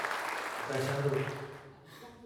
दशहरो